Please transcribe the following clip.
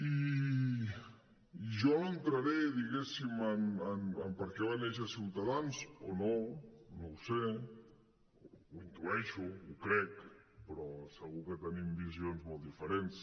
i jo no entraré diguéssim en per què va néixer ciutadans o no no ho sé ho intueixo ho crec però segur que tenim visions molt diferents